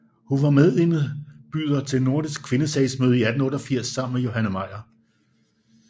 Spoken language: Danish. Hun var medindbyder til Nordiske Kvindesagsmøde 1888 sammen med Johanne Meyer